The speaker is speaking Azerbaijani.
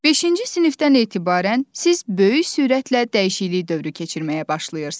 Beşinci sinifdən etibarən siz böyük sürətlə dəyişiklik dövrü keçirməyə başlayırsınız.